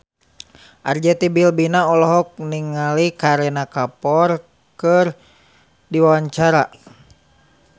Arzetti Bilbina olohok ningali Kareena Kapoor keur diwawancara